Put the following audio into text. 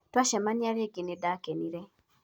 twacemania rĩngĩ nĩdakenile